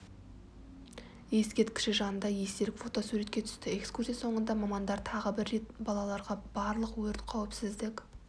ескерткіші жанында естелік фотосуретке түсті экскурсия соңында мамандар тағы бір рет балаларға барлық өрт қауіпсіздік